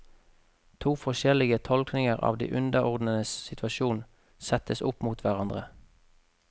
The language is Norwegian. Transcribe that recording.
To forskjellige tolkninger av de underordnedes situasjon settes opp mot hverandre.